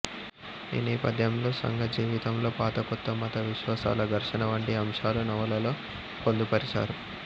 ఈ నేపథ్యంలో సంఘజీవితంలో పాత కొత్త మత విశ్వాసాల ఘర్షణ వంటి అంశాలు నవలలో పొందుపరిచారు